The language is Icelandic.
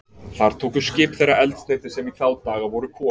Þar tóku skip þeirra eldsneyti, sem í þá daga voru kol.